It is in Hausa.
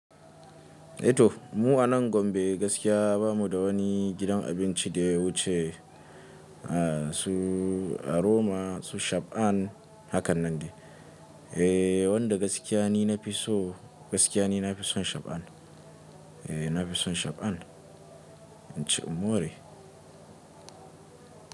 A to mu a nan Gombe gaskiya bamu da wani gidan abinci da wuce a su aroma su Shab'an hakan nan ne. Eh wanda gaskiyane na fi so gaskiyane na fi son Shab'an. Eh na fi son Shab'an. In ci in more.